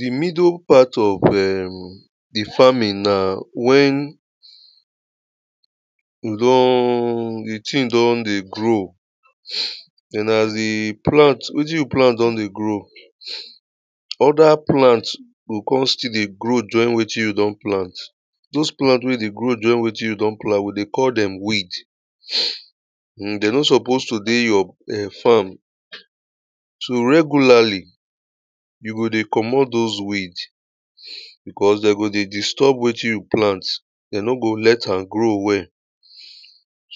The middle part of um the farming na, when um the thing done dey grow, and as the plant, wetin you plant done dey grow, other plant go come still dey grow join with you done plant. Those plant wey dey grow join with you don plant, we go call them weed. um They no supposed to dey your farm. So regularly, you go dey commot those weed because them go dey disturb wey you plant, they no go let am grow well.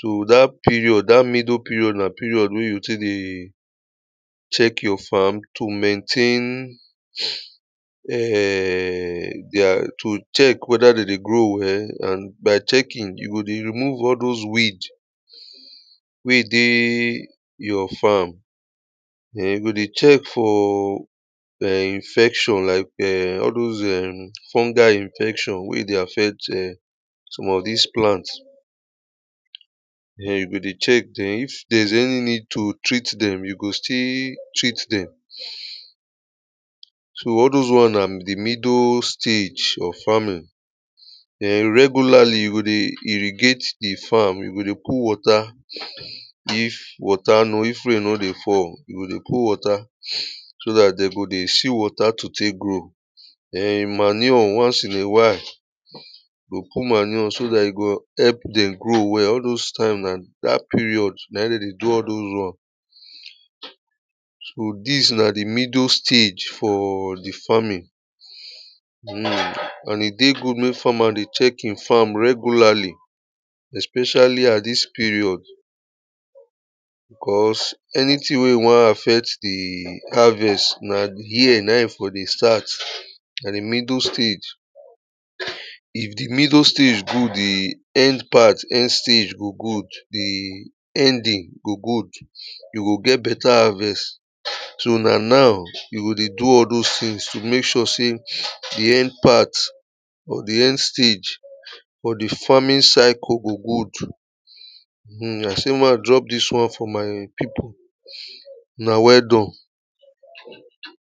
So that period, that middle period, na period wey you dey check your farm to maintain um dey to check whether they dey grow well. And by checking, you go dey remove all those weed wey dey your farm. Then you go dey check for um infection um like all those um fungi infection, wey dey affect some of these plants. Then you go dey check then, if there's any need to treat them, you go still treat them. So all those one na the middle stage of farming. then regularly, you go dey irregate di farm, you go dey put water if water no if rain no dey fall you go dey put water so dat de go dey see water to tek grow. manure once in a while. you go put manure so dat e go help dem grow well all those time na dat period na in dey dey do all dos won um so this na the middle stage for the farming. And it dey good wey farmer dey checking farm regularly, especially at this period. Because anything wey want affect the harvest now here now for the start, the middle stage. If the middle stage good, the end part, end stage go good, the ending go good. You go get better harvest. So na now you go dey do all those things to make sure say the end part of the end stage for the farming cycle go good. um I say make I drop this one for my people. una welldone.